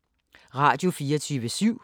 Radio24syv